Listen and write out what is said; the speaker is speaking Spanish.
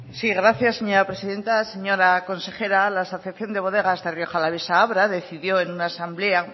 sí gracias señora presidenta señora consejera la asociación de bodegas de rioja alavesa abra decidió en una asamblea